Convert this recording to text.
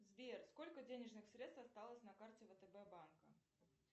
сбер сколько денежных средств осталось на карте втб банка